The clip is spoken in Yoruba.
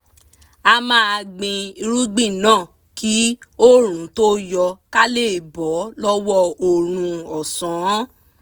a máa gbin irúgbìn náà kí oòrùn tó yọ ká lè bọ́ lọ́wọ́ ooru ọ̀sán